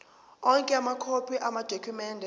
onke amakhophi amadokhumende